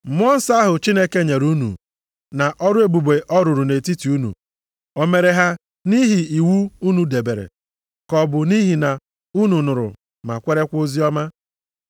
Mmụọ nsọ ahụ Chineke nyere unu na ọrụ ebube ọ rụrụ nʼetiti unu, o mere ha nʼihi iwu unu debere, ka ọ bụ nʼihi na unu nụrụ ma kwerekwa oziọma?